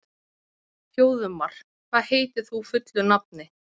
Þjóðmar, hvað heitir þú fullu nafni?